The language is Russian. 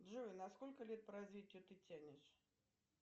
джой на сколько лет по развитию ты тянешь